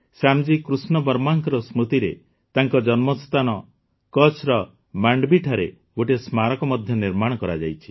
ଶ୍ୟାମଜୀ କୃଷ୍ଣ ବର୍ମାଙ୍କ ସ୍ମୃତିରେ ତାଙ୍କ ଜନ୍ମସ୍ଥାନ କଚ୍ଛର ମାଣ୍ଡୱିଠାରେ ଗୋଟିଏ ସ୍ମାରକ ମଧ୍ୟ ନିର୍ମାଣ କରାଯାଇଛି